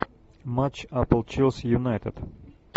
матч апл челси юнайтед